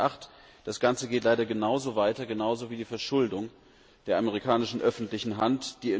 2008. Das Ganze geht leider genauso weiter, genauso wie die Verschuldung der amerikanischen öffentlichen Hand.